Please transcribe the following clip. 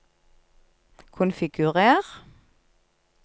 konfigurer